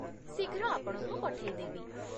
ଶୀଘ୍ର ଆପଣଙ୍କୁ ପଠେଇଦେବି!